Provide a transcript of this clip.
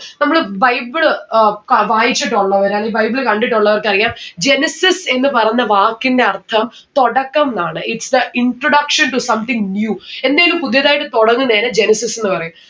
നമ്മള് bible ഏർ ക വായിച്ചിട്ടുള്ളവരാണ് ഈ bible കണ്ടിട്ടുള്ളവർക്ക് അറിയാം genesis എന്ന് പറഞ്ഞ വാക്കിന്റെ അർഥം തുടക്കം ന്ന്‌ ആണ്. its the introduction to something new എന്തേലും പുതിയതായിട്ട് തൊടങ്ങുന്നെരം genesis ന്ന്‌ പറയ